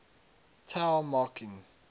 tao marking